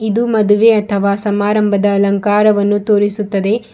ಇದು ಮದುವೆ ಅಥವಾ ಸಮಾರಂಭದ ಅಲಂಕಾರವನ್ನು ತೋರಿಸುತ್ತದೆ.